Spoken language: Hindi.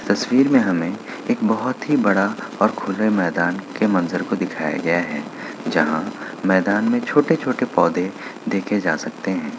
तस्वीर में हमें एक बहुत ही बड़ा और खुले मैदान के मंजर को दिखाया गया है जहां मैदान में छोटे-छोटे पौधे देखे जा सकते है।